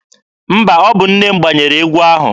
Mba, ọ bụ nne m gbanyere egwu ahụ.